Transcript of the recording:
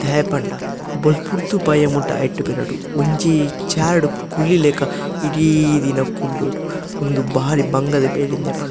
ದಾಯೆ ಪಂಡ ಬೊಲ್ಪುರ್ದು ಬಯ್ಯಮುಟ ಐಟ್ ಬೇಲೆ ಡ್ ಒಂಜಿ ಈ ಚೈರ್ ಡು ಕುಲ್ಲಿಲೆಕ ಇಡೀ ದಿನ ಕುಲ್ಲೊಡು ಉಂದು ಬಾರಿ ಬಂಗದ ಬೇಲೆ ದಾಯೆ ಪಂಡ--